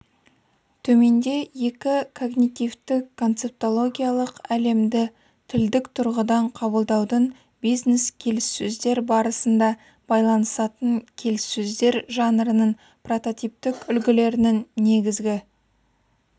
төменде екі когнитивтік-концептологиялық әлемді тілдік тұрғыдан қабылдаудың бизнес келіссөздер барысында байланысатын келіссөздер жанрының прототиптік үлгілерінің негізгі